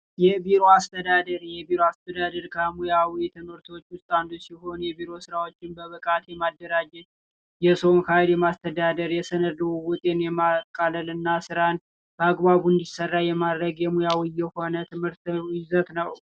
የቢሮ አስተዳደር ከሙያዊ ትምህርቶች ውስጥ አንዱ ሲሆን የቢሮ ስራዎችን በብቃት ማደራጀ ማስተዳደር የሰነዶች ውጤትና ስራን ባግባቡ እንዲሰራ የማድረግ የሙያው እየሆነ ትምህርት ነው ይዘት ነው